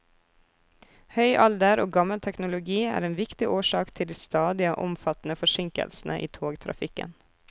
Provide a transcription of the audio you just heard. Høy alder og gammel teknologi er en viktig årsak til de stadige, omfattende forsinkelsene i togtrafikken.